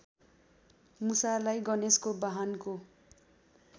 मुसालाई गणेशको वाहनको